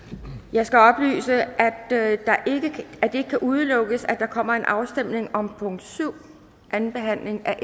jeg skal oplyse at det ikke kan udelukkes at der kommer en afstemning om punkt syv anden behandling af